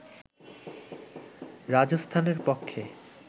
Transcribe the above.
রাজস্থানের পক্ষে